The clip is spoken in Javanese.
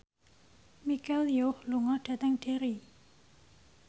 Michelle Yeoh lunga dhateng Derry